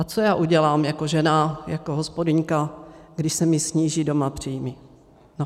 A co já udělám jako žena, jako hospodyňka, když se mi sníží doma příjmy?